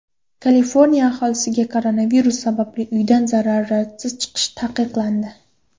Kaliforniya aholisiga koronavirus sababli uydan zaruratsiz chiqish taqiqlandi.